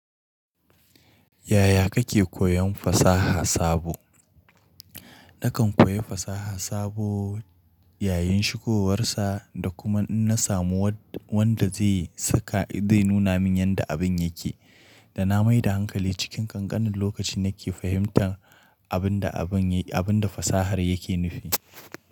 Yaya kake koyon fasaha sabo? Nakan koyi fasaha sabo yayin shigowar sa da kuma in na samu wanda zai nuna min yadda abin yake. Da na mai da hankali cikin ƙanƙanin lokaci nake fahimtar abin abun abin da fasahar yake nufi.